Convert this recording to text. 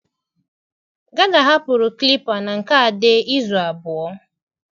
Gada hapụrụ clippa na nke Ade izu abụọ.